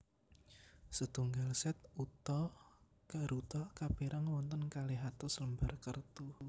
Setunggal set uta garuta kapérang wonten kalih atus lembar kertu